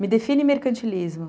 Me define mercantilismo.